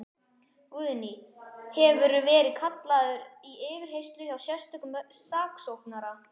Guðný: Hefurðu verið kallaður til yfirheyrslu hjá sérstökum saksóknara?